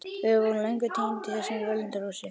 Við vorum löngu týnd í þessu völundarhúsi.